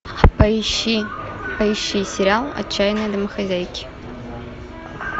поищи сериал отчаянные домохозяйки